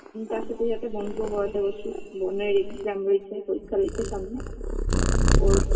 ম তার সাথে যাতে বোনকেও পড়াতে বসি বোনের exam রয়েছে পরীক্ষা রয়েছে সামনে ওর